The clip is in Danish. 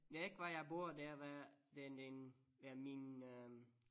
Det ikke hvor jeg bor det er hvad den den ja min øh